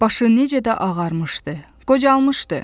Başı necə də ağarmışdı, qocalmışdı.